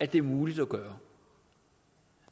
at det er muligt at gøre